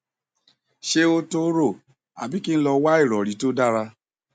ṣé ó tó rò àbí kí n lọ wá ìrọrí tó dára